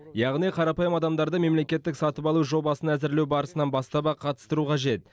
яғни қарапайым адамдарды мемлекеттік сатып алу жобасын әзірлеу барысынан бастап ақ қатыстыру қажет